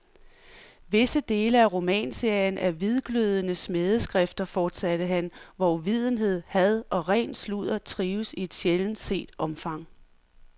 Visse dele af romanserien er hvidglødende smædeskrifter, fortsatte han, hvor uvidenhed, had og ren sludder trives i et sjældent set omfang.